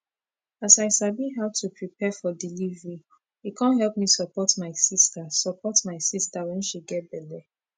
as i sabi how to prepare for delivery e con help me support my sister support my sister wen she get belle